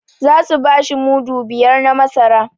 Za su bashi mudu biyar na masara